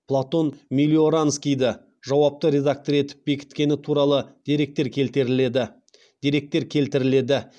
платон мелиоранскийді жауапты редактор етіп бекіткені туралы деректер келтіріледі